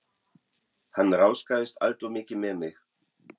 Hann ráðskaðist alltof mikið með mig.